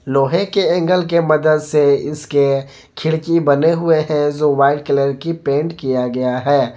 लोहे के एंगल के मदद से इसके खिड़की बने हुए हैं जो वाइट कलर की पेंट किया गया है।